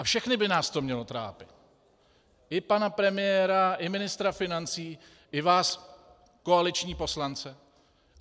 A všechny by nás to mělo trápit, i pana premiéra, i ministra financí, i vás, koaliční poslance.